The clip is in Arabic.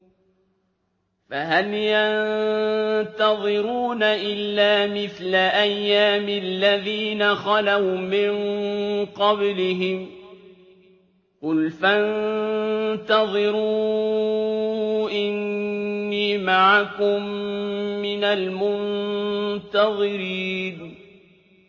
فَهَلْ يَنتَظِرُونَ إِلَّا مِثْلَ أَيَّامِ الَّذِينَ خَلَوْا مِن قَبْلِهِمْ ۚ قُلْ فَانتَظِرُوا إِنِّي مَعَكُم مِّنَ الْمُنتَظِرِينَ